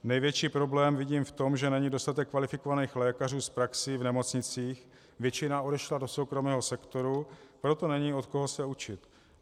Největší problém vidím v tom, že není dostatek kvalifikovaných lékařů s praxí v nemocnicích, většina odešla do soukromého sektoru, proto není od koho se učit.